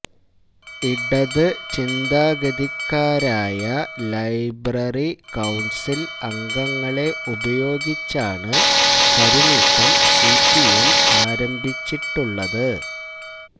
ഇടത് ചിന്താഗതിക്കാരായ library council അംഗങ്ങളെ ഉപയോഗിച്ചാണ് കരുനീക്കം സിപിഎം ആരംഭിച്ചിട്ടുള്ളത്